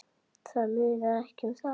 Það munar ekki um það.